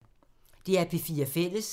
DR P4 Fælles